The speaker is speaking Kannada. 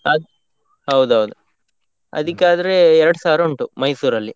ಅದ್ ಹೌದೌದು, ಅದಿಕಾದ್ರೆ ಎರಡ್ ಸಾವಿರ ಉಂಟು Mysore ಲ್ಲಿ.